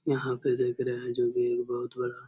यहाँ पर देख रहे है जो की बहुत बड़ा --